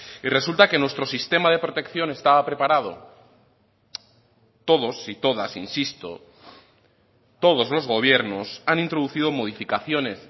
y resulta que nuestro sistema de protección estaba preparado todos y todas insisto todos los gobiernos han introducido modificaciones